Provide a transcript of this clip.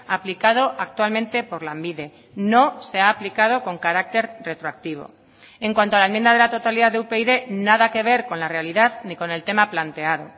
aplicado actualmente por lanbide no se ha aplicado con carácter retroactivo en cuanto a la enmienda de la totalidad de upyd nada que ver con la realidad ni con el tema planteado